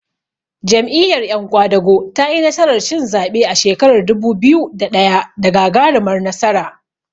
Jam'iyyar yan ƙwadago tayi nasarar cin zaɓe a shekarar dubu biyu da ɗaya da gagarumar nasara.